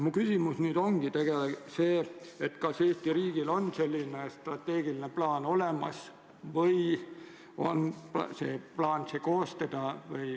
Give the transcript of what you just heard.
Mu küsimus ongi, kas Eesti riigil on selline strateegiline plaan olemas või on kavas see plaan koostada.